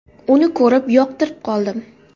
Uni ko‘rib, yoqtirib qoldim.